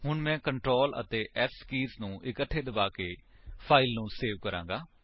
ਹੁਣ ਮੈਂ ਕੰਟਰੋਲ ਅਤੇ S ਕੀਜ ਨੂੰ ਇਕੱਠੇ ਦਬਾਕੇ ਫਾਇਲ ਨੂੰ ਸੇਵ ਕਰਾਂਗਾ